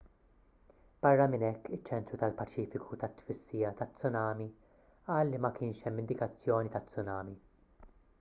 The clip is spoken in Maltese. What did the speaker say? barra minn hekk iċ-ċentru tal-paċifiku tat-twissija taz-tsumani qal li ma kienx hemm indikazzjoni ta' tsunami